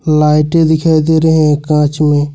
लाइटें दिखाई दे रहे हैं कांच में।